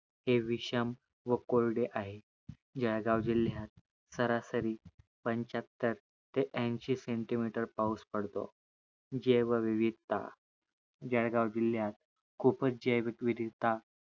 हे विषम व कोरडे आहे जळगाव जिल्यात सारासारी पंच्यात्तर ते ऐंशी CENTIMETER पाऊस पडतो जैवविवीधता जळगाव जिल्यात खूपच जैवविवीधता